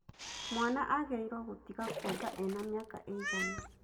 Mwana agĩrĩiruo gũtiga kuonga ena mĩaka ĩigana?